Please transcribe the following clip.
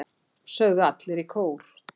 sögðu allir í kór.